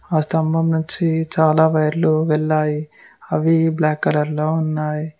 ఆ స్తంభం నుంచి చాలా వైర్లు వెళ్లాయి అవి బ్లాక్ కలర్ లో ఉన్నాయి.